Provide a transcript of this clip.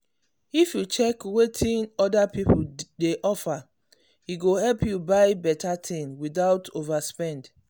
if you check wetin wetin other people dey offer e go help you buy better thing without overspend.